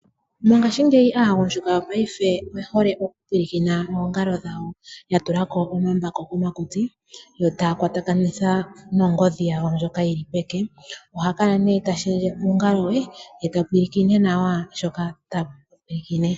Mongaashingeyi aagundjuka yopaife oye hole okupulakena oongalo dhawo yatulako omambako komutsi , yo taya kwatakanitha nongodhi yawo ndjoka yili peke. Oha kala ihe tashendje uungalo we, ye tapulakene nawa shoka tapulakene.